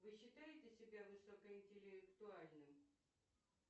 вы считаете себя высокоинтеллектуальным